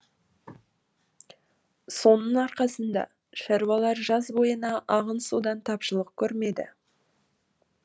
соның арқасында шаруалар жаз бойына ағын судан тапшылық көрмеді